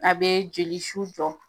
A be jolisu jɔ.